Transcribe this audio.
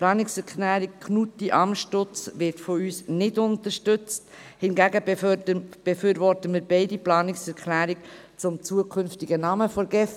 Die Planungserklärung Knutti/Amstutz wird von uns nicht unterstützt, hingegen befürworten wir beide Planungserklärungen zum zukünftigen Namen der GEF.